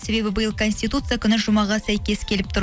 себебі биыл конституция күні жұмаға сәйкес келіп тұр